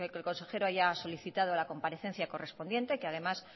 que el consejero haya solicitado a la comparecencia correspondiente que además